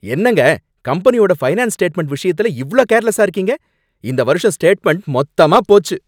என்னங்க, கம்பெனியோட finance statement விஷயத்துல இவ்ளோ கேர்லெஸா இருக்கீங்க? இந்த வருஷம் ஸ்டேட்மெண்ட் மொத்தமா போச்சு